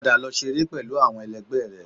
Padà lọ ṣeré pẹlú àwọn ẹlẹgbẹ́ rẹ